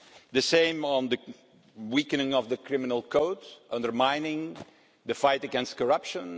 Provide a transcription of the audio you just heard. The same applies to the weakening of the Criminal Code, undermining the fight against corruption.